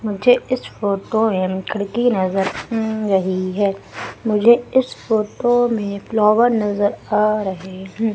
मुझे इस फोटो मे एक खिड़की नज़र अम रही है मुझे इस फोटो मे फ्लावर नज़र आ रहे हं।